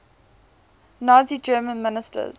nazi germany ministers